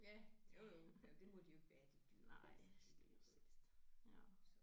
Ja jo jo ja det må de jo ikke være de dyr altså det er jo så